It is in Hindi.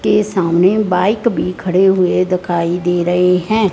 के सामने बाइक भी खड़े हुए दिखाई दे रहे हैं।